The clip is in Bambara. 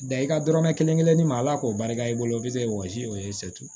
Da i ka dɔrɔmɛ kelen kelen di ma ala k'o barika i bolo bi se wɔsi o ye